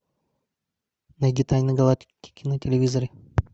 найди тайны галактики на телевизоре